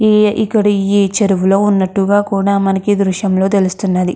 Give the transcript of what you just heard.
ఈ ఇక్కడి ఇవి చెరువులో ఉన్నటుగ కూడా మనకి ఈ దృశ్యంలో తెలుస్తున్నది.